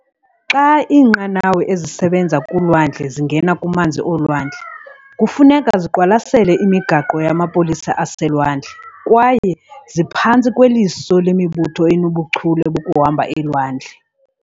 Xa iinqanawa ezisebenza kulwandle zingena kumanzi olwandle, kufuneka ziqwalasele imigaqo yamapolisa aselwandle kwaye ziphantsi kweliso lemibutho enobuchule bokuhamba elwandle.